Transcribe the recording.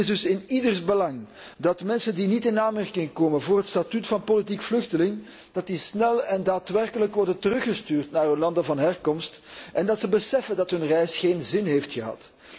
Het is dus in ieders belang dat mensen die niet in aanmerking komen voor het statuut van politiek vluchteling, snel en daadwerkelijk worden teruggestuurd naar hun land van herkomst en dat ze beseffen dat hun reis geen zin heeft gehad.